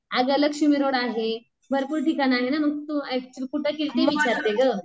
आग लक्ष्मीरोड आहे भरपूर ठिकाण आहे ना मग तू अक्चूअली कुठं केली ते विचारते ग.